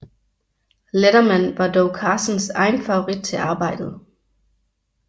Letterman var dog Carsons egen favorit til arbejdet